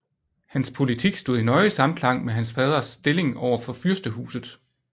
Hans politik stod i nøje samklang med hans faders stilling over for fyrstehuset